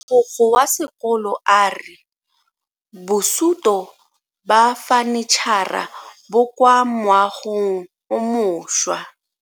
Mogokgo wa sekolo a re bosuto ba fanitšhara bo kwa moagong o mošwa.